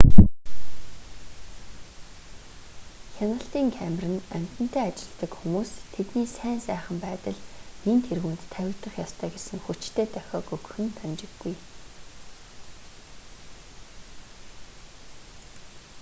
хяналтын камер нь амьтантай ажилладаг хүмүүст тэдний сайн сайхан байдал нэн тэргүүнд тавигдах ёстой гэсэн хүчтэй дохиог өгөх нь дамжиггүй